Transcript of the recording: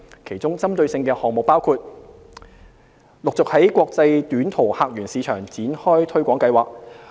其中，針對性項目包括：―陸續在國際短途客源市場展開推廣計劃。